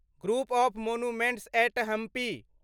group of monuments at Hampi